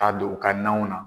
K'a don u ka nanw na.